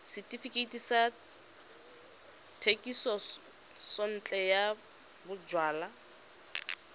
setefikeiti sa thekisontle ya bojalwa